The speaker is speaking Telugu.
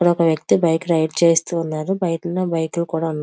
ఇక్కడ ఒక వ్యక్తి బైక్ రైడ్ చేస్తూ ఉన్నాడు బైక్ మీద బైక్ కూడా ఉన్నది.